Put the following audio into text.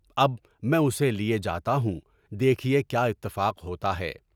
اب میں اسے لے جاتا ہوں، دیکھیے کیا اتفاق ہوتا ہے۔